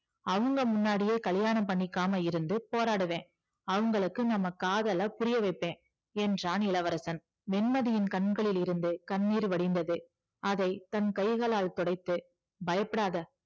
அவங்க முன்னாடியே கல்யாணம் பண்ணிகாம இருந்து போராடுவேன் அவங்களுக்கு நம்ம காதலை புரிய வைப்பேன் என்றான் இளவரசன் வெண்மதியின் கண்களில் இருந்து கண்ணீர் வழிந்தது அதை தன் கைகளால் துடைத்து பயப்படாத